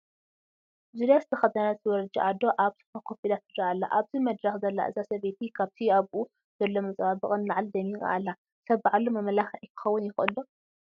ዙርያ ዝተኸደነት ወረጃ ኣዶ ኣብ ሶፋ ኮፍ ኢላ ትርአ ኣላ፡፡ ኣብዚ ደረኽ ዘላ እዛ ሰበይቲ ካብቲ ኣብኢ ዘሎ መፀባበቒ ንላዕሊ ደሚቓ ኣላ፡፡ ሰብ ባዕሉ መመላክዒ ክኸውን ይኽእል ዶ?